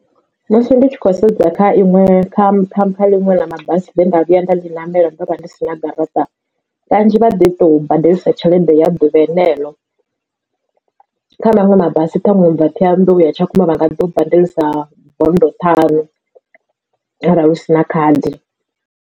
Musi ndi tshi khou sedza kha iṅwe kha khamphani ḽiṅwe ḽa mabasi ye nda vhuya nda ḽi ṋamela ndo vha ndi si na garaṱa kanzhi vha ḓi to badelisa tshelede ya ḓuvha henelo kha maṅwe mabasi ṱhaṅwe ubva Ṱhohoyanḓou uya tshakhuma vha nga ḓi u badelisa bondo ṱhanu arali u sina khadi.